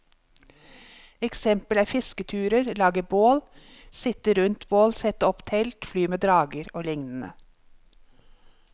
Eksempel er fisketurer, lage bål, sitte rundt bål, sette opp telt, fly med drager og lignende.